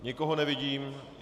Nikoho nevidím.